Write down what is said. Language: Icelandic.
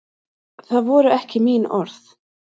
Það voru ekki mín orð